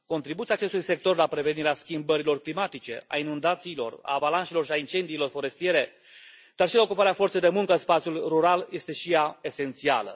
Contribuția acestui sector la prevenirea schimbărilor climatice, a inundațiilor, a avalanșelor și a incendiilor forestiere, dar și la ocuparea forței de muncă în spațiul rural este și ea esențială.